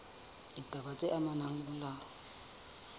ditaba tse amanang le molao